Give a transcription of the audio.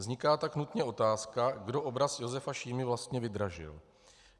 Vzniká tak nutně otázka, kdo obraz Josefa Šímy vlastně vydražil.